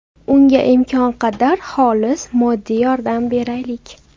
Unga imkon qadar xolis moddiy yordam beraylik!